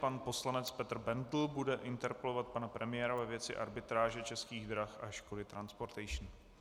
Pan poslanec Petr Bendl bude interpelovat pana premiéra ve věci arbitráže Českých drah a Škody Transportation.